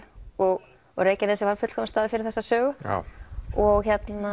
og og Reykjanesið er fullkominn staður fyrir þessa sögu og